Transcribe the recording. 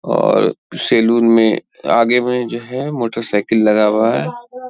और सैलून में आगे में जो है मोटरसाइकिल लगा हुआ है।